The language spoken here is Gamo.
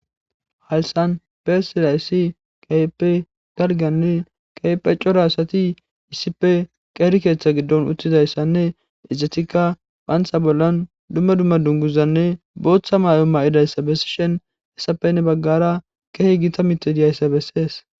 Haysan persilayssi qayepe galganni kaype cora asati issife qeeri keeththa giddon uttizayssanne ezetikka phaantha bollan dumma dumma dunguzanne booththa maay7o ma7idayssa bessi shen hessapenne baggara kehi gita mitediyayssa bessees